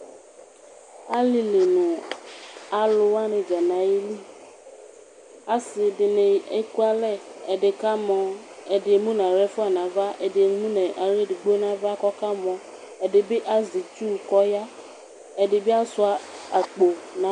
Alili nʋ alʋwani dza nʋ ayili asidini ekʋ alɛ ɛdini ka mɔ, kʋ emʋnʋ aɣla nʋ ava aɣla edigbo nʋ ava kʋ ɔkamɔ ɛdibi azɛ itsʋ kʋ ɔya, ɛdibi asuia akpo